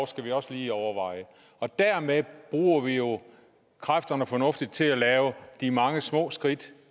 skal vi også lige overveje dermed bruger vi jo kræfterne fornuftigt til at lave de mange små skridt